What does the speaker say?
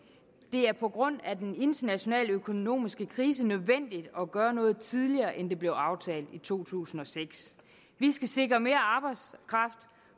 er på grund af den internationale økonomiske krise nødvendigt at gøre noget tidligere end det blev aftalt i to tusind og seks vi skal sikre mere arbejdskraft